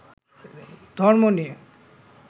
ধর্ম নিয়ে